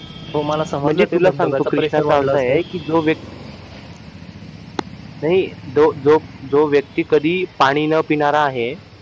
म्हणजे तुला सांगतो कि कृष्णाचं असं आहे कि जो व्यक्ती नाही जो जो व्यक्ती कधी पाणी न पिणारा आहे